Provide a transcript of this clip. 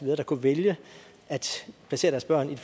der kunne vælge at placere deres børn i